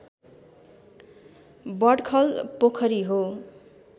बडखल पोखरी हो